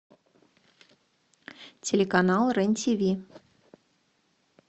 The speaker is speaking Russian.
телеканал рен тв